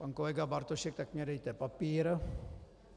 Pan kolega Bartošek: Tak mi dejte papír.